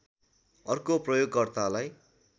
अर्को प्रयोकर्तालाई